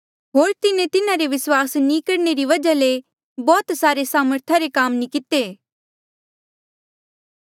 होर तिन्हें तेथी तिन्हारे विस्वास नी करणे री वजहा ले बौह्त सामर्था रे काम नी किते